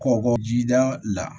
Kɔkɔjida la